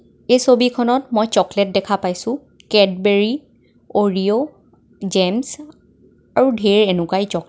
এই ছবি খনত মই চকলেট দেখা পাইছোঁ কেদবেৰী অৰিঅ' জেমছ আৰু ধেৰ এনেকুৱা এ চকলেট .